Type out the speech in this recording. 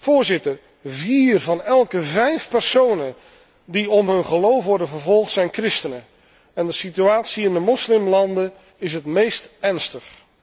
Voorzitter, vier van elke vijf personen die om hun geloof worden vervolgd zijn christenen en de situatie in de moslimlanden is het meest ernstig.